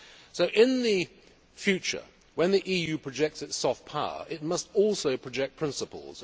So in the future, when the EU projects its soft power, it must also project principles.